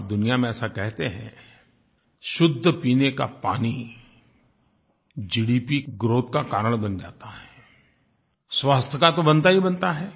और दुनिया में ऐसा कहते हैं शुद्ध पीने का पानी जीडीपी ग्राउथ का कारण बन जाता है स्वास्थ्य का तो बनता ही बनता है